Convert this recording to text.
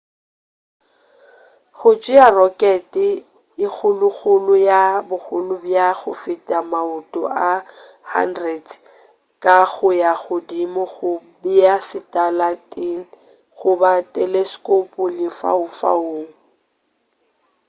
go tšea rokete e kgolokgolo ya bogolo bja go feta maoto a 100 ka go ya godimo go bea satalaete goba teleskopo lefaufaung